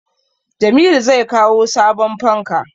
Jamilu zai kawo sabon fanka